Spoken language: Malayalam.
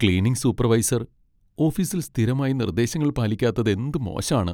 ക്ലീനിംഗ് സൂപ്പർവൈസർ ഓഫീസിൽ സ്ഥിരമായി നിർദ്ദേശങ്ങൾ പാലിക്കാത്തതെന്ത് മോശാണ്.